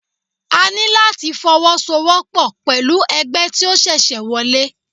A ní láti fọwọ́ so wọ́pọ̀ pẹ̀lú ẹgbẹ́ tí ó ṣẹ̀ṣẹ̀ wọlé.